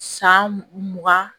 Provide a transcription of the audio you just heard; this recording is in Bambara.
San mugan